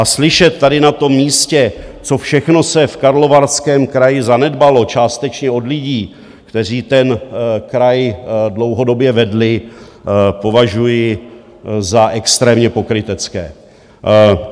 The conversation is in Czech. A slyšet tady na tom místě, co všechno se v Karlovarském kraji zanedbalo, částečně od lidí, kteří ten kraj dlouhodobě vedli, považuji za extrémně pokrytecké.